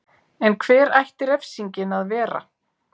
En hver ætti refsingin að vera?